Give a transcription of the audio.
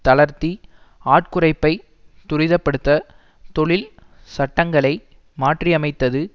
தளர்த்தி ஆட்குறைப்பை துரித படுத்த தொழில் சட்டங்களை மாற்றியமைத்தது